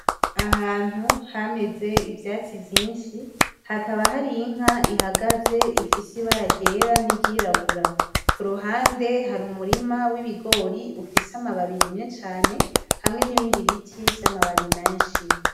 Ahantu hameze ivyatsi vyinshi, hakaba hari inka ihagaze ifise ibara ryera niry'irabura, kuruhande hari umurima w'ibigori ufise amababi yumye cane hamwe n'ibindi biti vy'amababi menshi.